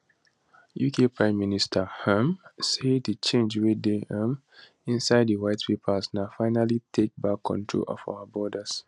uk prime minister um say di change wey dey um inside di white paper na finally take back control of our borders